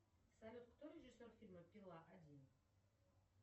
салют кто режиссер фильма пила один